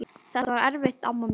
Þetta var erfitt amma mín.